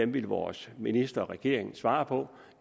vil vores minister og regeringen svare på